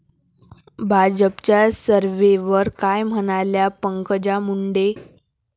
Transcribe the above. भाजपच्या सर्व्हेवर काय म्हणाल्या पंकजा मुंडे!